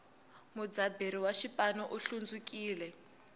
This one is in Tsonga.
mudzaberi wa xipanu u hlundzukile